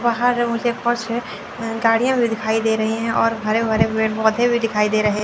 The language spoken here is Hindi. बहोत से गाड़ियां भी दिखाई दे रही है और हरे भरे पेड़ पौधे भी दिखाई दे रहे हैं।